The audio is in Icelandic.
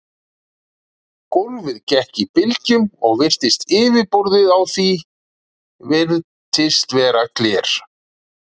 Gólfið gekk í bylgjum og yfirborðið á því virtist vera gler.